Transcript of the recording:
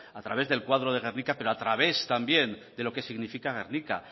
a través del cuadro de guernica pero a través también de lo que significa gernika